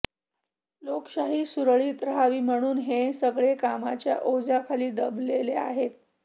लोकशाही सुरळीत राहावी म्हणून हे सगळे कामाच्या ओझ्याखाली दबलेले आहेत